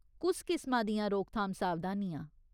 कुस किसमा दियां रोकथाम सावधानियां ?